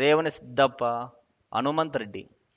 Revanasiddappa Hanumantha Reddy